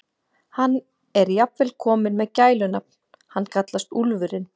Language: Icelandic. Hann er jafnvel kominn með gælunafn, hann kallast Úlfurinn.